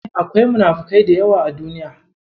Akwai munafukai da yawa a Duniya.